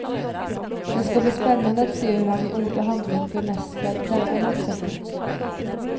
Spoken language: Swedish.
Det skall bli spännande att se hur han i ord och handling bemästrar denna motsättning.